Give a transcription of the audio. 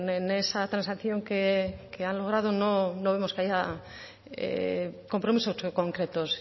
en esa transacción que han logrado no vemos compromisos concretos